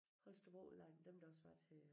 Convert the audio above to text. Holstebro Udlejning dem der også var til